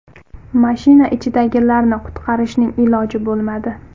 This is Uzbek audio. Mashina ichidagilarni qutqarishning iloji bo‘lmadi.